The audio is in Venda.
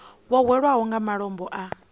vho hwelwaho nga malombo a